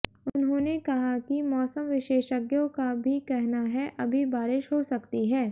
उन्होंने कहा कि मौसम विशेषज्ञों का भी कहना है अभी बारिश हो सकती है